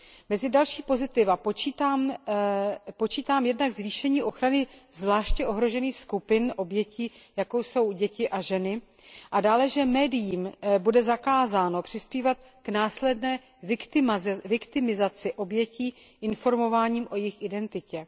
Mezi další pozitiva počítám jednak zvýšení ochrany zvláště ohrožených skupin obětí, jako jsou děti a ženy, a dále že médiím bude zakázáno přispívat k následné viktimizaci obětí informováním o jejich identitě.